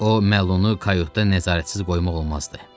O məlunu qayotda nəzarətsiz qoymaq olmazdı.